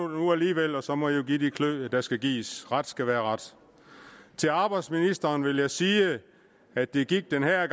nu alligevel og så må i jo give de klø der skal gives ret skal være ret til arbejdsministeren vil jeg sige at det gik at være